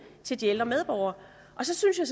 til de ældre medborgere så synes jeg